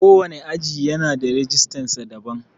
Ko wane aji yana da rijistar sa daban.